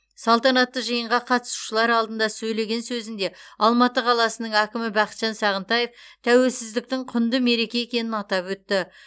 салтанатты жиынға қатысушылар алдында сөйлеген сөзінде алматы қаласының әкімі бақытжан сағынтаев тәуелсіздіктің құнды мереке екенін атап өтті